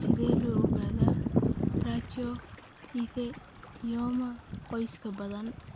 Sidee loo ogaadaa trichoepithelioma qoyska badan?